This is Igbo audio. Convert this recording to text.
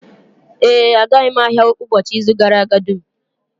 Ee, agaghị m ahịa ụbọchị izu gara aga dum